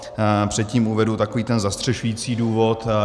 Předtím uvedu takový ten zastřešující důvod.